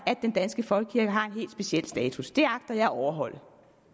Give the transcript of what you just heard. at den danske folkekirke har en helt speciel status det agter jeg at overholde